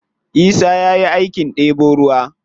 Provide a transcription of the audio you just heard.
Isa ya yi aikin ɗebo ruwa.